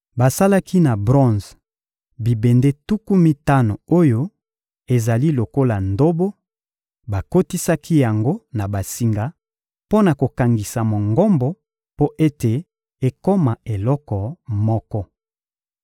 Basalaki na bronze bibende tuku mitano oyo ezali lokola ndobo; bakotisaki yango na basinga mpo na kokangisa Mongombo mpo ete ekoma eloko moko.